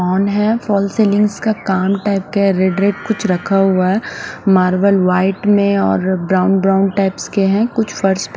phone है fall ceiling का कुछ काम टाइप का रेड रेड कुछ रखा हुआ है मार्बल वाइट में और ब्राउन ब्राउन टीप्स के है कुछ फर्श --